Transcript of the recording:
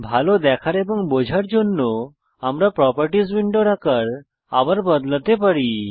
ভাল দেখার এবং বোঝার জন্য আমরা প্রোপার্টিস উইন্ডোর আকার আবার বদলাতে পারি